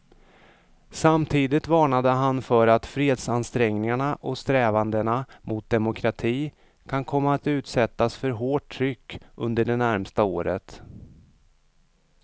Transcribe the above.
Samtidigt varnade han för att fredsansträngningarna och strävandena mot demokrati kan komma att utsättas för hårt tryck under det närmaste året.